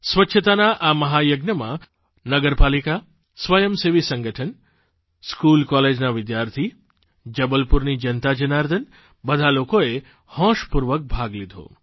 સ્વચ્છતાના આ મહાયજ્ઞમાં નગરપાલિકા સ્વયંસેવી સંગઠન સ્કૂલ કોલેજના વિદ્યાર્થી જબલપુરની જનતા જનાર્દન બધા લોકોએ હોંશપૂર્વક ભાગ લીધો